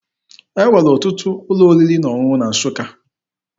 E nwere ọtụtụ ụlọ oriri na ọṅụṅụ na Nsụka.